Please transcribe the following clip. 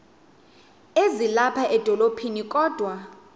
ezilapha edolophini kodwa